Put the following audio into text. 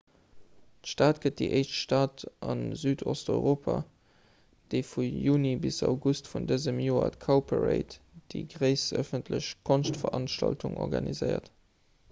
d'stad gëtt déi éischt stad a südosteuropa déi vu juni bis august vun dësem joer d'cowparade déi gréisst ëffentlech konschtveranstaltung organiséiert